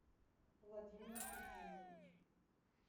владимир евгеньевич